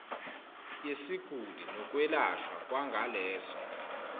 yesiguli nokwelashwa kwangaleso